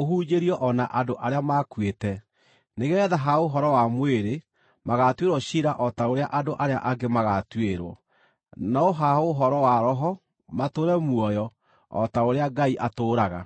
ũhunjĩrio o na andũ arĩa makuĩte, nĩgeetha ha ũhoro wa mwĩrĩ magaatuĩrwo ciira o ta ũrĩa andũ arĩa angĩ magaatuĩrwo, no ha ũhoro wa roho matũũre muoyo o ta ũrĩa Ngai atũũraga.